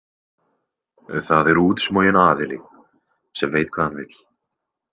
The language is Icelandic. Það er útsmoginn aðili sem veit hvað hann vill.